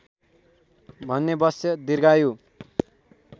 भने वत्स दीर्घायु